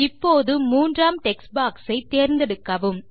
இப்போது மூன்றாம் text box ஐ தேர்ந்தெடுக்கவும்